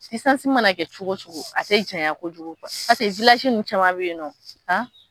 mana kɛ cogo o cogo a tɛ janya kojugu paseke ninnu caman bɛ yen nɔ